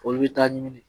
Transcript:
Olu bɛ taa ɲini